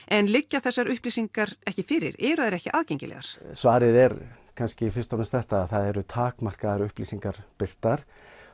en liggja þessar upplýsingar ekki fyrir eru þær ekki aðgengilegar svarið er kannski fyrst og fremst þetta það eru takmarkaðar upplýsingar birtar